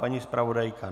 Paní zpravodajka?